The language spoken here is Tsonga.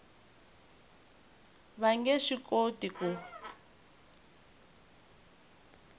va nge swi koti ku